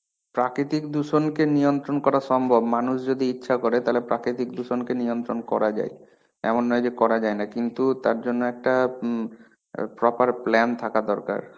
প্রাকিতিক দূষণকে নিয়ন্ত্রণ করা সম্ভব মানুষ যদি ইচ্ছে করে তাহলে প্রাকিতিক দূষণকে নিয়ন্ত্রণ করা যায়. এমন নয় যে করা যায়না. কিন্তু, তার জন্যে একটা উম proper plan থাকা দরকার.